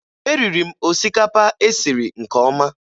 Eriri m osikapa e siri nke ọma